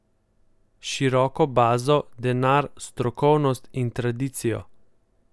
Široko bazo, denar, strokovnost in tradicijo.